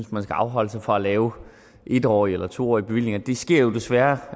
man skal afholde sig fra at lave en årige eller to årige bevillinger det sker jo desværre